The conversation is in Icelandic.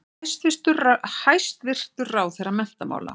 Hæstvirtur ráðherra menntamála.